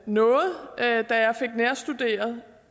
noget da jeg fik nærstuderet